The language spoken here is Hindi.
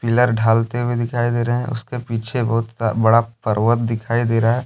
पीलर ढालते हुए दिखाई दे रहे है उसके पीछे बहुत बड़ा पर्वत दिखाई दे रहा है।